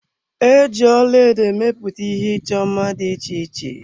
E ji ọlaedo emepụta ihe ịchọ mma dị iche iche.